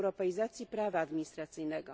europeizacji prawa administracyjnego.